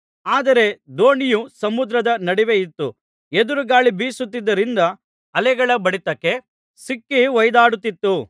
ಆದರೆ ದೋಣಿಯು ಸಮುದ್ರದ ನಡುವೆಯಿತ್ತು ಎದುರು ಗಾಳಿ ಬೀಸುತ್ತಿದ್ದುದರಿಂದ ಅಲೆಗಳ ಬಡಿತಕ್ಕೆ ಸಿಕ್ಕಿ ಹೊಯ್ದಾಡುತ್ತಿತ್ತು